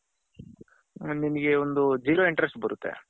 ಹ ನಿಮ್ಮಗೆ ಒಂದು zero interest ಬರುತ್ತೆ.